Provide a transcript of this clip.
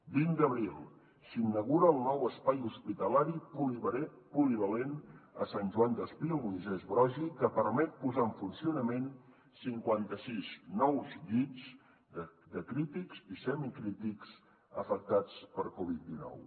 vint d’abril s’inaugura el nou espai hospitalari polivalent a sant joan despí al moisès broggi que permet posar en funcionament cinquanta sis nous llits de crítics i semicrítics afectats per covid dinou